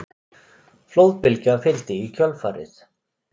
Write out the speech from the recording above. Flóðbylgja fylgdi í kjölfarið